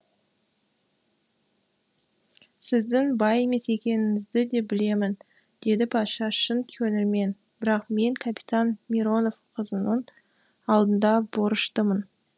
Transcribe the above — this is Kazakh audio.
сіздің бай емес екеніңізді де білемін деді патша шын көңілмен бірақ мен капитан миронов қызының алдында борыштымын